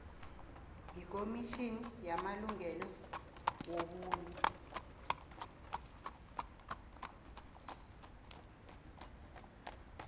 yekomitjhini yamalungelo wobuntu